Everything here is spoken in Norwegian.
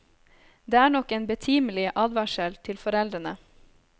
Det er nok en betimelig advarsel til foreldrene.